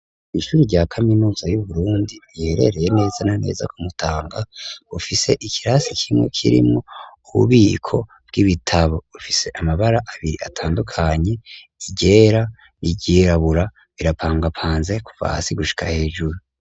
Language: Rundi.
Ishuri rya kaminuza yu Burundi, riherereye neza na neza ku Mutanga, bufise ikirasi kimwe kirimwo ububiko bw'ibitabo, bufise amabara abiri atandukanye, iryera, iryirabura, birapangapanze kuva hasi gushika hejuru.